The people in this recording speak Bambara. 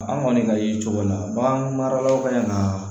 An kɔni ka ye cogo la bagan maralaw ka ɲi ka na